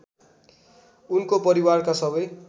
उनको परिवारका सबै